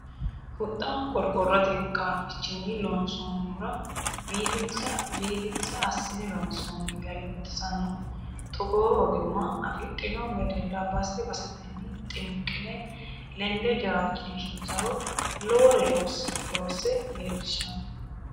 Huxxa qorqorote qaafichinni loonsonihura biifinse assine loonsonni gari baxisinoe togoo ogimma afidhino wedella base basetenni xinqine lende jawaachishiro lowore loosse leellishano.